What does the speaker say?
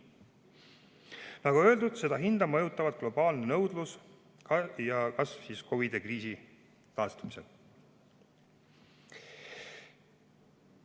Nagu öeldud, seda hinda mõjutavad globaalne nõudlus ja selle kasv COVID‑i kriisist taastumisel.